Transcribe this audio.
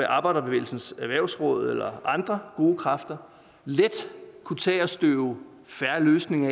arbejderbevægelsens erhvervsråd eller andre gode kræfter let kunne tage at støve fair løsning